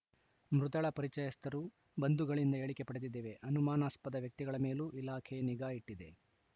ಮೃತಳ ಪರಿಚಯಸ್ಥರು ಬಂಧುಗಳಿಂದ ಹೇಳಿಕೆ ಪಡೆದಿದ್ದೇವೆ ಅನುಮಾನಾಸ್ಪದ ವ್ಯಕ್ತಿಗಳ ಮೇಲೂ ಇಲಾಖೆ ನಿಗಾ ಇಟ್ಟಿದೆ